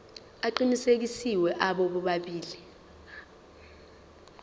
aqinisekisiwe abo bobabili